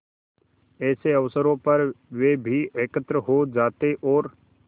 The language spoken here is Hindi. ऐसे अवसरों पर वे भी एकत्र हो जाते और